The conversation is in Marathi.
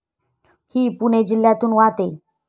हि पुणे जिल्ह्यातून वाहते.